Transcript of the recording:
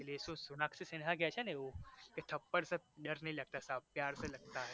એ તો સોનાક્ષી સિંહા કે છે ને એવુ કે थप्पड़ से डर नहीं लगता साहेब प्यार से लगता है